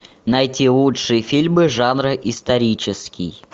найти лучшие фильмы жанра исторический